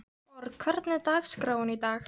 Borg, hvernig er dagskráin í dag?